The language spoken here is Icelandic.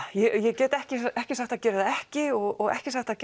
ég get ekki ekki sagt að það geri það ekki og ekki sagt að